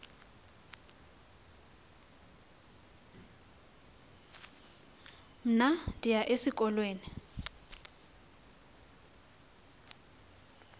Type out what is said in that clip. mna ndiyaya esikolweni